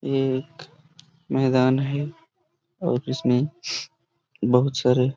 ये एक मैदान है और इसमे बहुत सारे--